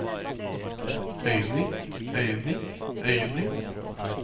øyeblikk øyeblikk øyeblikk